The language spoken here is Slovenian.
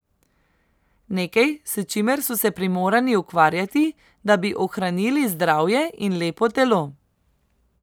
Nekaj, s čimer so se primorani ukvarjati, da bi ohranili zdravje in lepo telo.